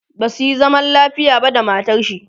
basuyi zaman lafiya ba da matarshi